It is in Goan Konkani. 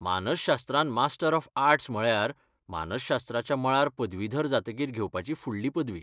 मानसशास्त्रांत मास्टर ऑफ आर्ट्स म्हळ्यार मानसशास्त्राच्या मळार पदवीधर जातकीर घेवपाची फुडली पदवी.